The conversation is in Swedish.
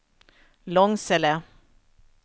Långsele